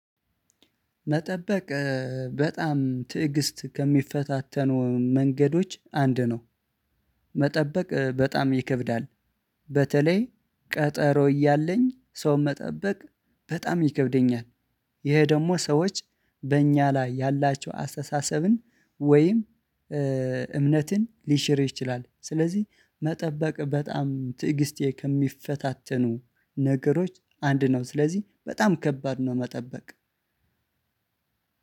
መጠበቅ በጣም ትዕግስት ከሚፈታተኑ መንገዶች አንዱ ነው። መጠበቅ በጣም ይከብዳል። በተለይ ቀጠሮ እያለኝ ሰው መጠበቅ በጣም ይከብደኛል። ይሄ ደግሞ ሰዎች በእኛ ላይ ያላቸው አስተሳሰብን ወይም እምነትን ሊሽር ይችላል። ስለዚህ መጠበቅ በጣም ትዕግስቴን ከሚፈታተኑ ነገሮች አንዱ ነው። ስለዚህ በጣም ከባድ ነው መጠበቅ።